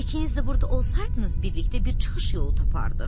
İkiniz də burda olsaydınız, birlikdə bir çıxış yolu tapardıq.